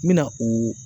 N bɛna o